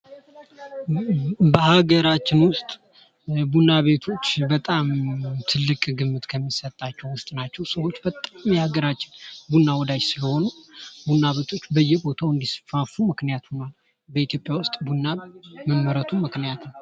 በሀገራችን ውስጥ ቡና ቤቶች በጣም ትልቅ ግምት ከሚሰጣቸው ውስጥ ናቸው። በጣም የሀገራችን ቡና ወዳጅ ስለሆኑ ቡና ቤቶች በየቦታው እንዲስፋፉ ምክንያት ሆኗል። በኢትዮጵያ ውስጥ ቡና መመረቱ ምክንያት